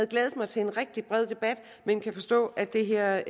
glædet mig til en rigtig bred debat men kan forstå at det her